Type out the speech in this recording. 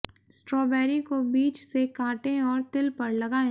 strawberry को बीच से काटें और तिल पर लगाएं